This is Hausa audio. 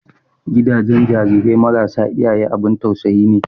Gidajen jarirai marasa iyaye abun tausayi ne.